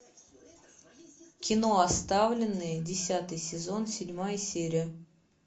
кино оставленные десятый сезон седьмая серия